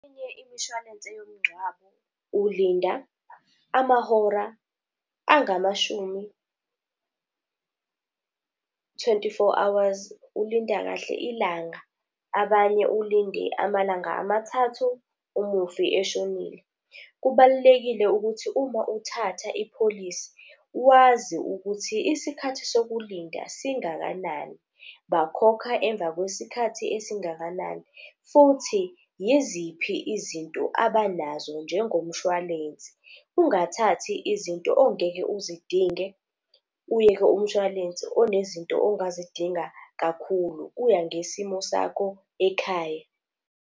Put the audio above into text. Enye imishwalense yomgcwabo ulinda amahora angamashumi, twenty-four hours. Ulinda kahle ilanga, abanye ulinde amalanga amathathu umufi eshonile. Kubalulekile ukuthi uma uthatha ipholisi, wazi ukuthi isikhathi sokulinda singakanani, bakhokha emva kwesikhathi esingakanani. Futhi yiziphi izinto abanazo njengomshwalense, ungathathi izinto ongeke uzidinge uyeke umshwalense onezinto ongazidinga kakhulu, kuya ngesimo sakho ekhaya.